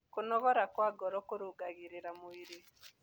Kũnogora kwa ngoro kũrũngagĩrĩrĩa mwĩrĩ